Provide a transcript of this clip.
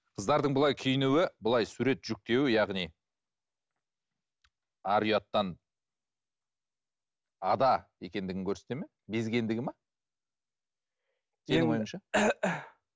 қыздардың бұлай киінуі былай сурет жүктеуі яғни ар ұяттан ада екендігін көрсетеді ме безгендігі ме